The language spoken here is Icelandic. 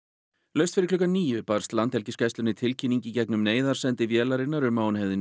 laust fyrir klukkan níu barst Landhelgisgæslunni tilkynning í gegnum neyðarsendi vélarinnar um að hún hefði